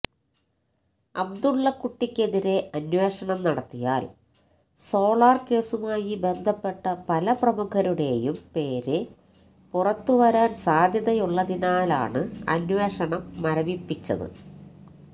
അബ്ദുള്ളക്കുട്ടിക്കെതിരെ അന്വേഷണം നടത്തിയാല് സോളാര് കേസുമായി ബന്ധപ്പെട്ട പല പ്രമുഖരുടെയും പേര് പുറത്തുവരാന് സാധ്യതയുള്ളതിനാലാണ് അന്വേഷണം മരവിപ്പിച്ചത്